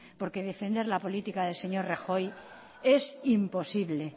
porque defender la política del señor rajoy es imposible